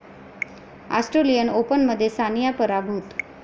Australian ओपनमध्ये सानिया पराभूत